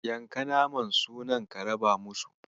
Yanka naman sunan ka raba musu.